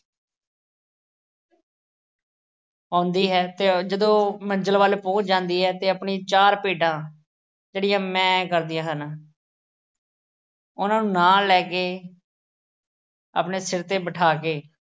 ਆਉਂਦੀ ਹੈ ਤੇ ਅਹ ਜਦੋਂ ਮੰਜ਼ਿਲ ਵੱਲ ਪਹੁੰਚ ਜਾਂਦੀ ਹੈ ਤੇ ਆਪਣੀਆਂ ਚਾਰ ਭੇਡਾਂ ਜਿਹੜੀਆਂ ਮੈਂਅ ਕਰਦੀਆਂ ਹਨ, ਉਹਨਾਂ ਨੂੰ ਨਾਲ ਲੈ ਕੇ, ਆਪਣੇ ਸਿਰ ਤੇ ਬਿਠਾ ਕੇ